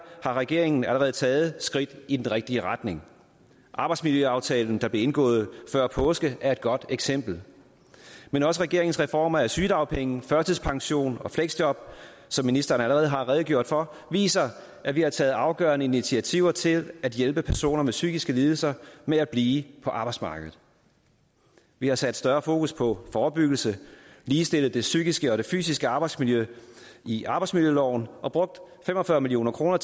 har regeringen allerede taget skridt i den rigtige retning arbejdsmiljøaftalen der blev indgået før påske er et godt eksempel men også regeringens reformer af sygedagpenge førtidspension og fleksjob som ministeren allerede har redegjort for viser at vi har taget afgørende initiativer til at hjælpe personer med psykiske lidelser med at blive på arbejdsmarkedet vi har sat større fokus på forebyggelse ligestillet det psykiske og fysiske arbejdsmiljø i arbejdsmiljøloven og brugt fem og fyrre million kroner